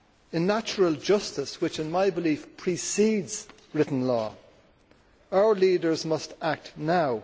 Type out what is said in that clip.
In natural justice, which in my belief precedes written law, our leaders must act now.